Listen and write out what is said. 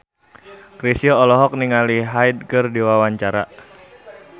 Chrisye olohok ningali Hyde keur diwawancara